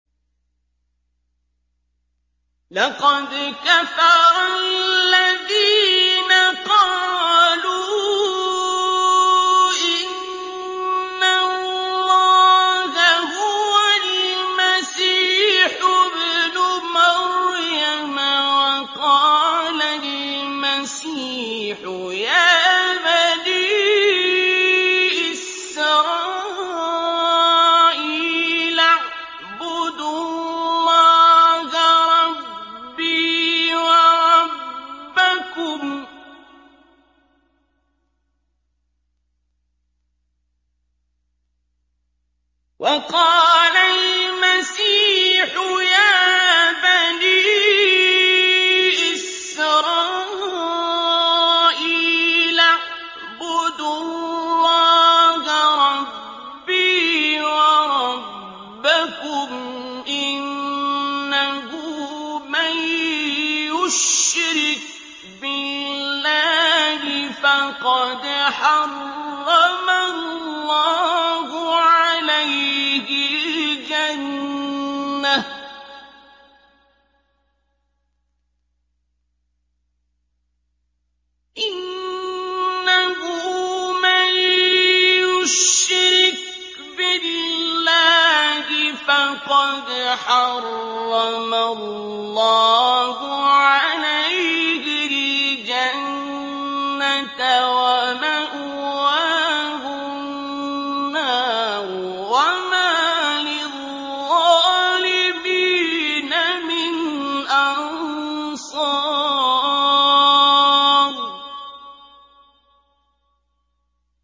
لَقَدْ كَفَرَ الَّذِينَ قَالُوا إِنَّ اللَّهَ هُوَ الْمَسِيحُ ابْنُ مَرْيَمَ ۖ وَقَالَ الْمَسِيحُ يَا بَنِي إِسْرَائِيلَ اعْبُدُوا اللَّهَ رَبِّي وَرَبَّكُمْ ۖ إِنَّهُ مَن يُشْرِكْ بِاللَّهِ فَقَدْ حَرَّمَ اللَّهُ عَلَيْهِ الْجَنَّةَ وَمَأْوَاهُ النَّارُ ۖ وَمَا لِلظَّالِمِينَ مِنْ أَنصَارٍ